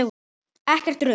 Ekkert rugl.